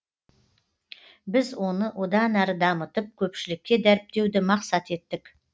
біз оны одан әрі дамытып көпшілікке дәріптеуді мақсат еттік